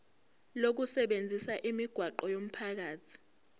lokusebenzisa imigwaqo yomphakathi